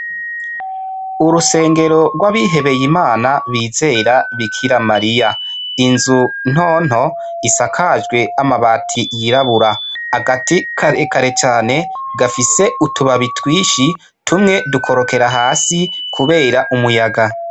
Urusengero rw'abihebeye imana bizera bikira mariya, inzu ntonto isakajwe amabati yirabura, agati karekare cane gafise utubabi twinshi tumwe dukorokera hasi kubera umuyaga.